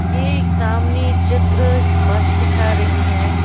ये सामने चित्र एक बस दिखा रही है।